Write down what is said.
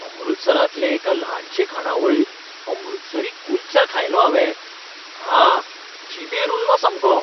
अमृतसरांतले एका ल्हानशे खाणावळींत अमृतसरी कुल्चा खायलो हावें. हा, जिबेर उरलो सामको.